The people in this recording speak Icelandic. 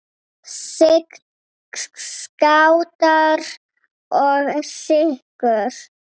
Sign, Skátar og Sykur.